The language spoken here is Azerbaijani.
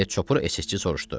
Deyə çopur əsgərçi soruşdu.